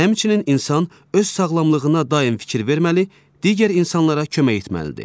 Həmçinin insan öz sağlamlığına daim fikir verməli, digər insanlara kömək etməlidir.